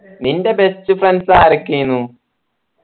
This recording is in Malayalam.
നിൻ്റെ best friends ആരൊക്കെ ആയിനു